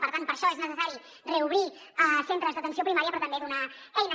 per tant per això és necessari reobrir centres d’atenció primària però també donar eines